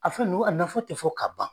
A fɛn ninnu a nafa tɛ fɔ ka ban